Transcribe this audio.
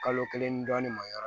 Kalo kelen ni dɔɔnin ma yɔrɔ